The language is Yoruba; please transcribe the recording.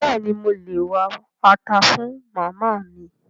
Béèni mo lè wá ata fun Màmá mi?